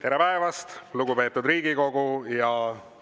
Tere päevast, lugupeetud Riigikogu!